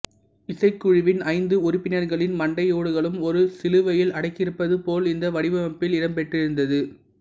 இசைக்குழுவின் ஐந்து உறுப்பினர்களின் மண்டையோடுகளும் ஒரு சிலுவையில் அடுக்கியிருப்பது போல் இந்த வடிவமைப்பில் இடம்பெற்றிருந்தது